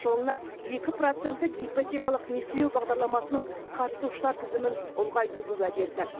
жылына екі проценттік ипотекалық несиелеу бағдарламасының қатысушылар тізімін ұлғайтуды уәде етті